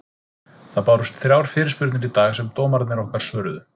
Það bárust þrjár fyrirspurnir í dag sem dómararnir okkar svöruðu.